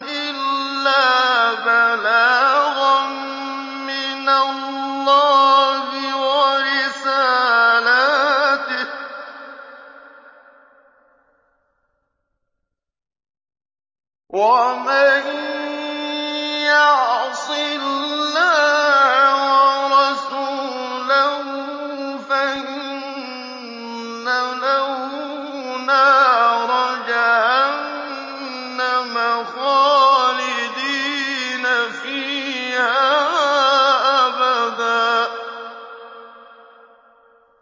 إِلَّا بَلَاغًا مِّنَ اللَّهِ وَرِسَالَاتِهِ ۚ وَمَن يَعْصِ اللَّهَ وَرَسُولَهُ فَإِنَّ لَهُ نَارَ جَهَنَّمَ خَالِدِينَ فِيهَا أَبَدًا